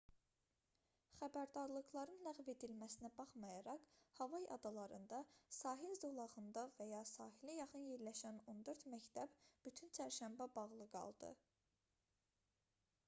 xəbərdarlıqların ləğv edilməsinə baxmayaraq havay adalarında sahil zolağında və ya sahilə yaxın yerləşən on dörd məktəb bütün çərşənbə bağlı qaldı